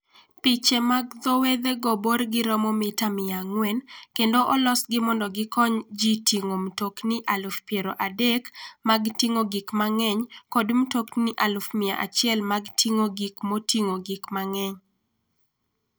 Piche mag dho wedhego borgi romo mita 400, kendo olosgi mondo gikony ji ting'o mtokni 30,000 mag ting'o gik mang'eny kod mtokni 100,000 mag ting'o gik moting'o gik mang'eny.